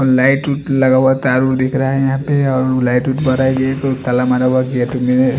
light वुट लगा हुआ तारा दिख रहा है यहाँ पे और लाइट वुट--